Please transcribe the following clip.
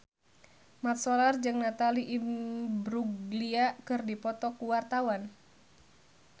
Mat Solar jeung Natalie Imbruglia keur dipoto ku wartawan